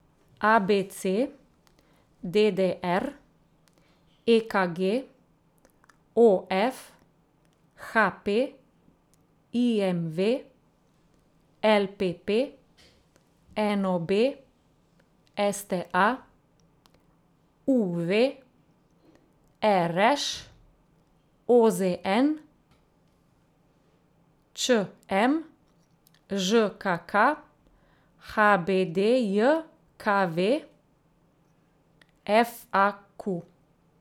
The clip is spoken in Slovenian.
A B C; D D R; E K G; O F; H P; I M V; L P P; N O B; S T A; U V; R Š; O Z N; Č M; Ž K K; H B D J K V; F A Q.